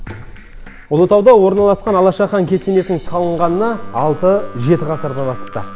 ұлытауда орналасқан алаша хан кесенесінің салынғанына алты жеті ғасырдан асыпты